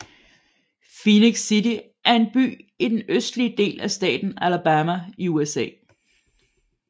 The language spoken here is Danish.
Phenix City er en by i den østlige del af staten Alabama i USA